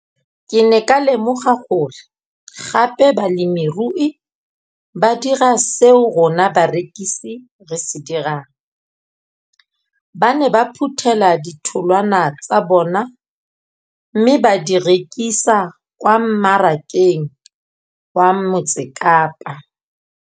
Ke ne ka lemoga gape gore balemirui ba dira seo rona barekisi re se dirang, ba ne ba phuthela ditholwana tsa bona mme ba di rekisa kwa marakeng wa Motsekapa.